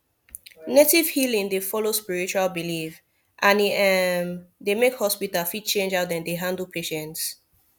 native healing dey follow spiritual belief and e um dey make hospital fit change how dem dey handle patients